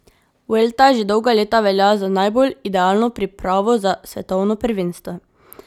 Vuelta že dolga leta velja za najbolj idealno pripravo za svetovno prvenstvo.